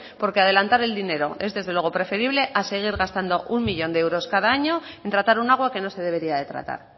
porque adelantar el dinero es desde luego preferible a seguir gastando uno millón de euros cada año en tratar un agua que no se debería de tratar